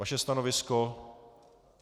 Vaše stanovisko?